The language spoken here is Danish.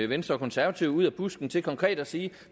venstre og konservative ud af busken til konkret at sige